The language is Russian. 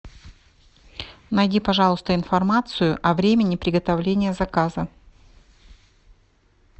найди пожалуйста информацию о времени приготовления заказа